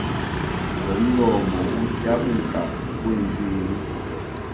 zomlomo ukutyabuka kweentsini